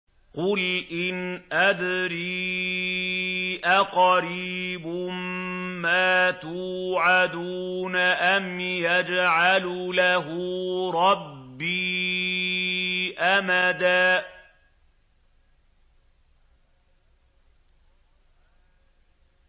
قُلْ إِنْ أَدْرِي أَقَرِيبٌ مَّا تُوعَدُونَ أَمْ يَجْعَلُ لَهُ رَبِّي أَمَدًا